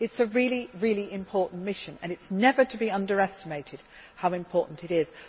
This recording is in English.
It is a really important mission and it is never to be underestimated how important it